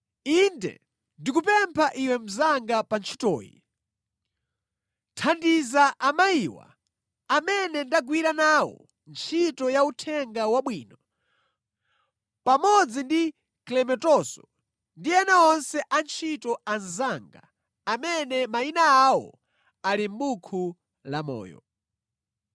Inde, ndikupempha iwe mnzanga pa ntchitoyi, thandiza amayiwa amene ndagwira nawo ntchito ya Uthenga Wabwino pamodzi ndi Klementonso ndi ena onse antchito anzanga amene mayina awo ali mʼbuku lamoyo.